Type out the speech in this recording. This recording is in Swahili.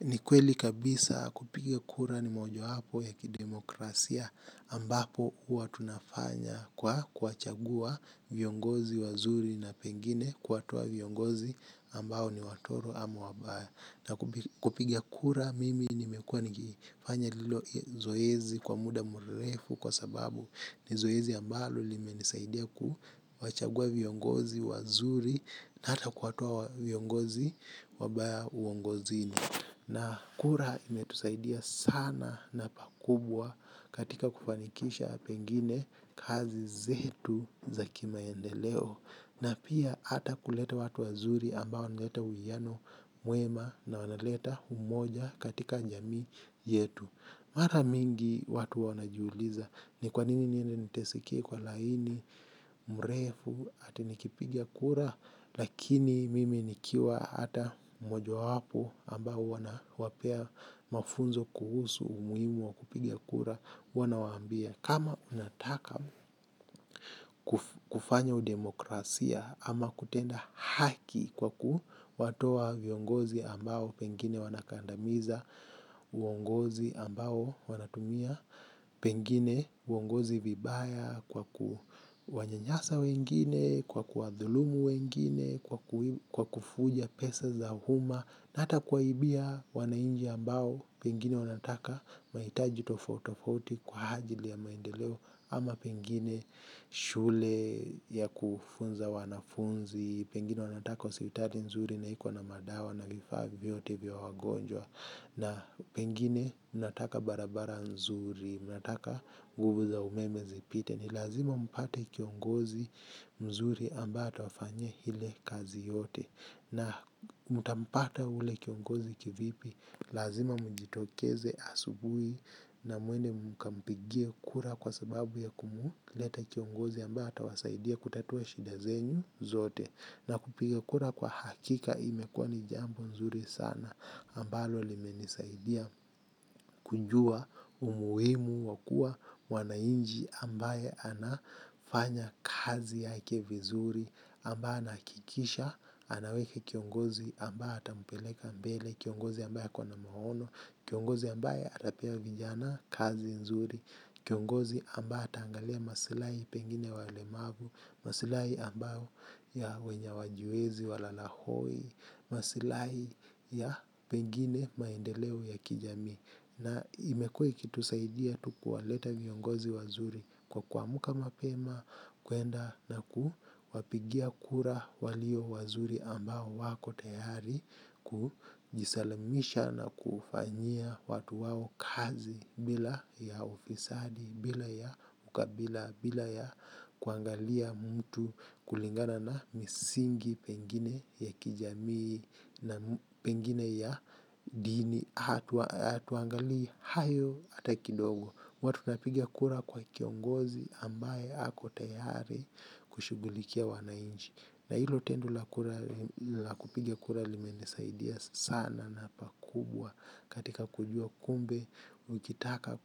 Ni kweli kabisa kupiga kura ni moja wapo ya kidemokrasia ambapo huwa tunafanya kwa kuwachagua viongozi wazuri na pengine kuwatoa viongozi ambao ni watoro ama wabaya. Na kupiga kura mimi nimekuwa ni kifanya hilo zoezi kwa muda murefu kwa sababu ni zoezi ambalo limenisaidia kuwachagua viongozi wazuri na hata kuwatoa viongozi wabaya uongozini. Na kura imetusaidia sana na pakubwa katika kufanikisha pengine kazi zetu za kimaendeleo. Na pia hata kuleta watu wazuri ambao wanaleta uiyano mwema na wanaleta umoja katika jamii yetu. Mara mingi watu wanajiuliza ni kwanini niende niteseke kwa laini mrefu atinikipiga kura. Lakini mimi nikiwa hata mojawapo ambao huwa nawapea mafunzo kuhusu umuhimu wa kupiga kura huwa nawaambia kama unataka kufanya udemokrasia ama kutenda haki kwa kuwatoa viongozi ambao pengine wanakandamiza uongozi ambao wanatumia pengine uongozi vibaya kwa kuwanyanyasa wengine kwa kuwadhulumu wengine, kwa kufuja pesa za uma na hata kuwaibia wanainchi ambao pengine wanataka mahitaji tofauti tofauti kwa ajili ya maendeleo ama pengine shule ya kufunza wanafunzi pengine wanataka hospotali nzuri na ikuwa na madawa na vifaa vyovyote vya wagonjwa na pengine mnataka barabara nzuri mnataka guvu za umeme zipite ni lazima mpata kiongozi mzuri ambaye atawafanya ile kazi yote na mtampata ule kiongozi kivipi lazima mujitokeze asubui na mwende mkampigie kura kwa sababu ya kumleta kiongozi ambaye atawasaidia kutatue shida zenyu zote na kupigia kura kwa hakika imekua ni jambo mzuri sana ambalo limenisaidia kujua umuhimu wakua mwanainchi ambaye anafanya kazi yake vizuri ambaye anahakikisha anaweke kiongozi ambaye ata mpeleka mbele kiongozi ambaye akonamahono kiongozi ambaye atapea vijana kazi nzuri kiongozi ambaye ataangalia masilai pengine ya walemavu, masilai ambayo ya wenye hawajiwezi walalahoi masilai ya pengine maendeleo ya kijamii. Na imekuwa ikitusaidia tu kuwaleta viongozi wazuri kwa kuamka mapema, kuenda na kuwapigia kura walio wazuri ambao wako tayari kujisalamisha na kufanyia watu wao kazi bila ya ufisadi, bila ya ukabila, bila ya kuangalia mtu kulingana na misingi pengine ya kijamii na pengine ya dini hatuangalii hayo hata kidogo huwa tunapiga kura kwa kiongozi ambaye ako tayari kushughulikia wanainchi na hilo tendo la kura la kupiga kura limenisaidia sana na pakubwa. Katika kujua kumbe, ukitaka